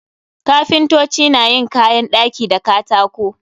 Kapintoci na yin kayan ɗaki da katako.